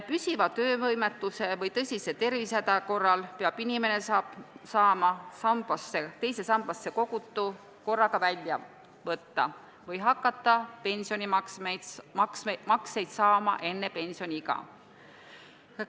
Püsiva töövõimetuse või tõsise tervisehäda korral peab inimene saama teise sambasse kogutu korraga välja võtta või hakata pensionimakseid saama enne pensioniiga.